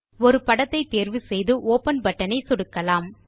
ஒரு படத்தை தேர்வு செய்து ஒப்பன் பட்டன் ஐ சொடுக்கலாம்